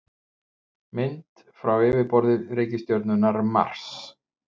mynd frá yfirborði reikistjörnunnar mars